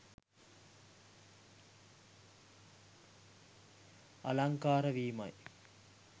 අලංකාර වීමයි.